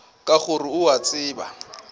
ka gore o a tseba